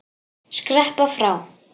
Skreppa frá?